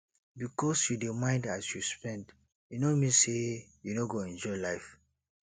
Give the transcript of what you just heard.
bikos yu dey mind as you spend e no mean say yu no go enjoy life